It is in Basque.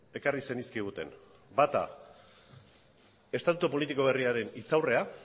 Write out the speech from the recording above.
ekarri zenizkiguten bata estatutu politiko berriaren hitzaurrea